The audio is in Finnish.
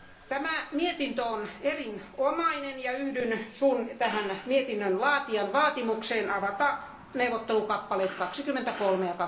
Tämä mietintö on erinomainen ja yhdyn mietinnön laatijan vaatimukseen avata neuvottelukappaleet 23